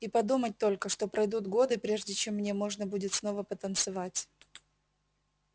и подумать только что пройдут годы прежде чем мне можно будет снова потанцевать